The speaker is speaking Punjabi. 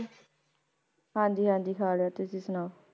ਹਾਂਜੀ ਹਾਂਜੀ ਖਾ ਲਿਆ, ਤੁਸੀਂ ਸੁਣਾਓ?